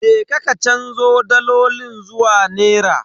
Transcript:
Je ka ka canzo dalolin zuwa nera.